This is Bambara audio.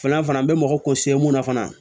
Filanan fana an bɛ mɔgɔ kun se mun na fana